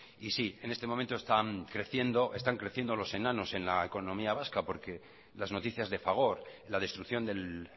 y sí en este momento están creciendo los enanos en la economía vasca porque las noticias de fagor la destrucción del